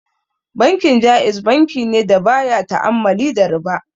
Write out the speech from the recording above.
Bankin Ja'iz bankine da baya ta'ammali da riba.